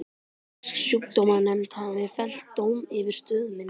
Fisksjúkdómanefnd hafði fellt dóm yfir stöð minni.